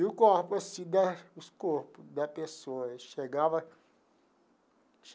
E o corpo, se der os corpo da pessoa, chegava.